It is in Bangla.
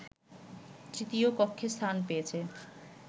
তৃতীয় কক্ষে স্থান পেয়েছে